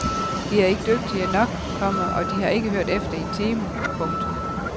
De er ikke dygtige nok, komma og de har ikke hørt efter i timen. punktum